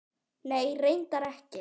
Nei, reyndar ekki.